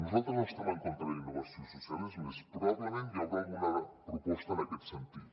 nosaltres no estem en contra de la innovació social és més probablement hi haurà alguna proposta en aquest sentit